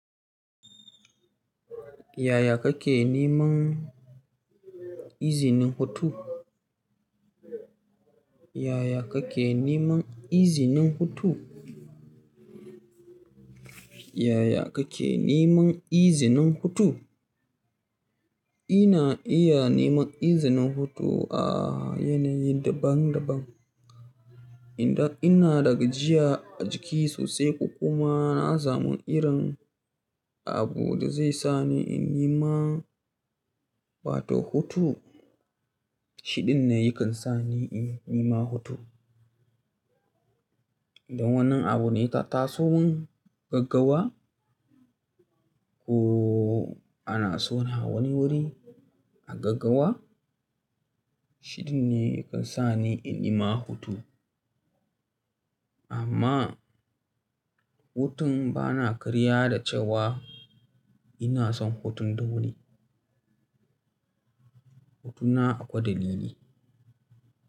Yaya kake neman izinin hutu? Yaya kake neman izinin hutu? Yaya kake neman izinin hutu? Ina iya neman izinin hutu a yanayi daban daban. Inda ina daga jiya a jiki sosai kuma na samu irin abu da zai sa ni in yi ma, ba to hutu. Shiɗin ne yakan sa ni in yi ne ma hutu. Don wannan abu ne ta tasowon gaggawa ko ana son ha wani wuri a gaggawa. Shiɗin ne yakan sa ni in yi ma hutu. Amma hutun bana karya da cewa ina son hutun dole. Hutuna akwai dalili.